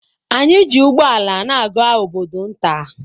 Anyị ji ụgbọala na-aga obodo nta.